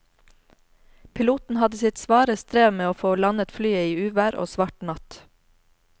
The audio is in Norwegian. Piloten hadde sitt svare strev med å få landet flyet i uvær og svart natt.